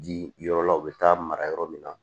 Ji yɔrɔ la u bɛ taa mara yɔrɔ min na